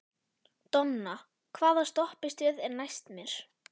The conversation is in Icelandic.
Donna, hvaða stoppistöð er næst mér?